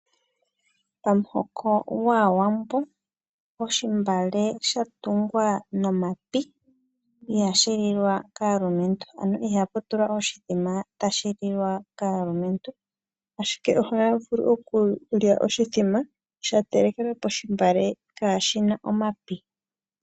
Pamuhoko gwAawambo, melilo ndyoka lya tungwa nomapi ihamu lilwa kaamati, ano ihamu hukulilwa oshimbombo tashi ka liwa kaalumentu. Yo oto vulu owala oku hukulila oshimbombo shawo melilo ndyoka kaali na omapi.